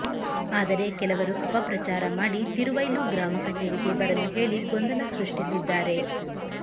ಆದರೆ ಕೆಲವರು ಅಪಪ್ರಚಾರ ಮಾಡಿ ತಿರುವೈಲು ಗ್ರಾಮ ಕಚೇರಿಗೆ ಬರಲು ಹೇಳಿ ಗೊಂದಲ ಸೃಷ್ಟಿಸಿದ್ದಾರೆ